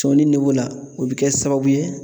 Sɔni o bɛ kɛ sababu ye